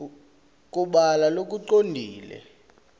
kubhala lokucondzile